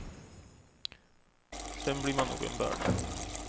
Sedan blir man nog en börda.